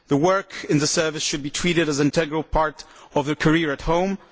Work in the Service should be treated as an integral part of their career at home.